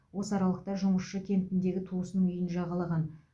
осы аралықта жұмысшы кентіндегі туысының үйін жағалаған